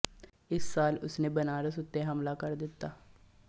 ਇਸ ਸਾਲ ਉਸਨੇ ਬਨਾਰਸ ਉੱਤੇ ਹਮਲਾ ਕਰ ਦਿੱਤਾ